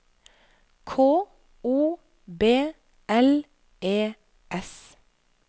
K O B L E S